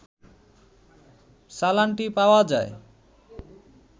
চালানটি পাওয়া যায়